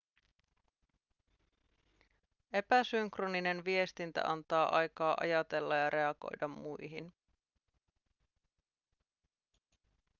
epäsynkroninen viestintä antaa aikaa ajatella ja reagoida muihin